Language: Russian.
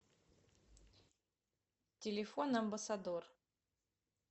телефон амбассадор